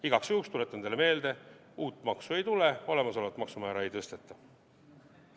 Igaks juhuks tuletan teile meelde, et uut maksu ei tule, olemasolevat maksumäära ei tõsteta.